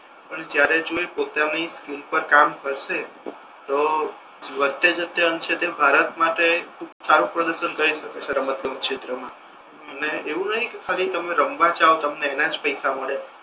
અને ત્યારે જો એ પોતની ઉપર કામ કરસે તો વધતે જતે અંત શતે તે ભારત માટે ખૂબ સારુ પ્રદર્શન કરી શકે છે રમતગમત ક્ષેત્ર મા અને એવુ નહી કે ખાલી તમે રમવા જાઓ તમને એના જ પૈસા મળે